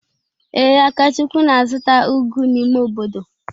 Ee, Akachukwu na-azụta ugu n’ime obodo.